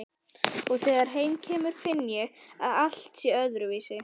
Og þegar heim kemur finn ég að allt er öðruvísi.